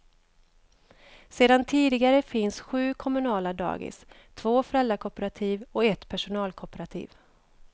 Sedan tidigare finns sju kommunala dagis, två föräldrakooperativ och ett personalkooperativ.